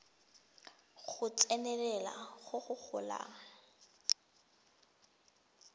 go tsenelela go go golang